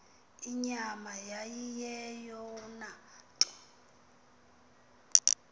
inyama yayiyeyona nto